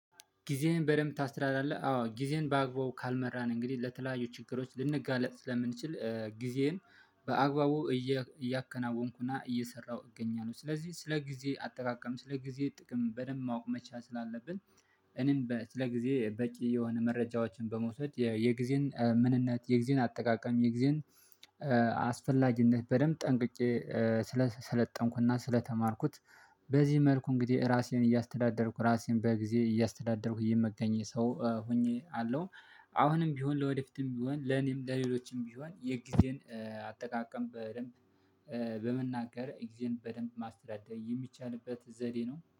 ጊዜህን በደንብ ታስተደዳድራለህ? አዎ ጊዜህን በአግባቡ ካልመራን እንግዲህ ለተለያዩ ችግሮች ልንጋለጥ ስለምንችል ጊዜን በአግባቡ እያከናወንኩና እየሰራሁ እገኛለሁ ስለዚህ ስለ ጊዜ አጠቃቀም ስለ ጊዜ ጥቅም በደንብ ማወቅ መቻል ስላለብን። እኔም ስለ ጊዜ በቂ የሆነ መረጃዎችን በመውሰድ የጊዜን ምንነት የጊዜን አጠቃቀም የጊዜን አስፈላጊነት በደንብ ጠንቅቄ ስለሰለጠንኩና ስለተማርኩት። በዚህ መልኩ እንግዲህ ራሴን እያስተዳደርኩ ራሴን በጊዜ እያስተዳደርኩ የምገኝ ሰው ሆኜ አለው። አሁንም ቢሆን ለወደፊትም ቢሆን ለኔም ለሌሎችም ቢሆን የጊዜን አጠቃቀም በደንብ በመናገር ግዜን በደንብ ማስተዳደር የሚቻልበት ዘዴ ነው